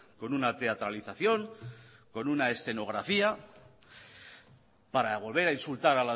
con una teatralización con una escenografía para volver a insultar